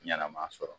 Ɲɛnɛma sɔrɔ